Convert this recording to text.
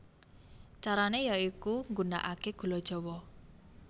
Carane ya iku nggunakake gula jawa